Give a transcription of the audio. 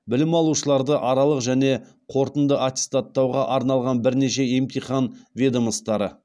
білім алушыларды аралық және қорытынды аттестаттауға арналған бірнеше емтихан ведомостары